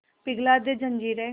पिघला दे जंजीरें